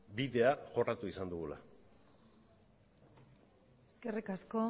bidea jorratu izan dugula eskerrik asko